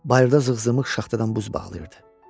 Bayırda zığzığmıq şaxtadan buz bağlayırdı.